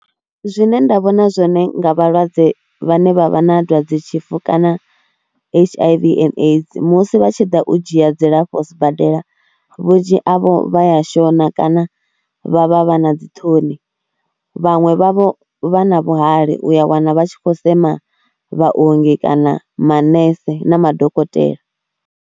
Zwine nda vhona zwone nga vhalwadze vhane vha vha na dwadzetshifu kana H_I_V and AIDS musi vha tshi ḓa u dzhia dzilafho sibadela vhunzhi havho vha ya shona kana vha vha vha na dzi ṱhoni, vhaṅwe vhavho vha na vhuhali, u ya wana vha tshi khou sema vhaongi kana manese na madokotela.